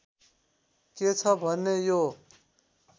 के छ भने यो